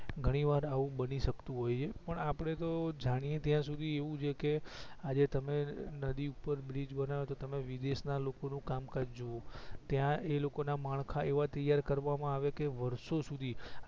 ઘણી વાર આવું બની શકતું હોય છે પણ આપડે તો જાણીએ ત્યાં સુધી એવું છે કે આજે તમે નદી ઉપર બ્રિજ બનાવો તો તમે વિદેશ ના લોકો નું કામકાજ જુઓ ત્યાં એ લોકો ના માડખ એવા તૈયાર કરવા માં આવે કે વર્ષો સુધી